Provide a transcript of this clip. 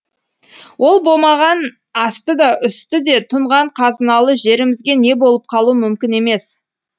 ол болмаған асты да үсті де тұнған қазыналы жерімізге не болып қалу мүмкін емес